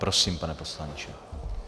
Prosím, pane poslanče.